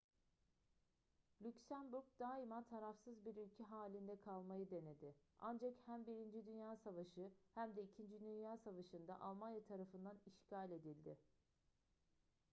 lüksemburg daima tarafsız bir ülke halinde kalmayı denedi ancak hem 1. dünya savaşı hem de 2. dünya savaşı'nda almanya tarafından işgal edildi